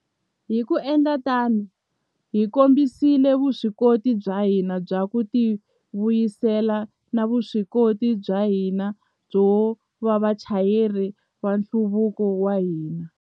Hi ku endla tano, hi kombisile vuswikoti bya hina bya ku tivuyisela na vuswikoti bya hina byo va vachayeri va nhluvuko wa hina.